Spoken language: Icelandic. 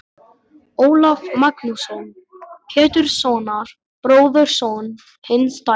Ólaf Magnússon, Péturssonar, bróðurson hins dæmda.